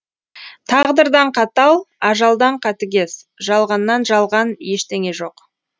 тағдырдан қатал ажалдан қатыгез жалғаннан жалған ештеңе жоқ